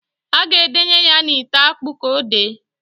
A ga edenye ya n'ite akpụ k' odee.